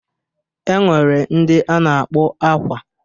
E nwere ndị a na-akpọ akwa.